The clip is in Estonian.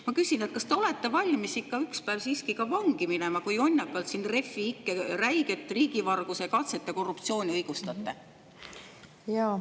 Ma küsin: kas te olete ikka valmis ükspäev siiski vangi minema, kuna te jonnakalt siin Refi ikke räiget riigivarguse katset ja korruptsiooni õigustate?